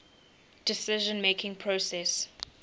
decision making process